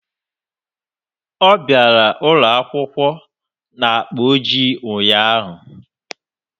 Ọ bịara ụlọ akwụkwọ na akpa ojii ụnyaahụ